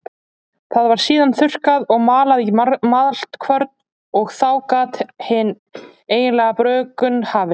Það var síðan þurrkað og malað í maltkvörn og þá gat hin eiginlega bruggun hafist.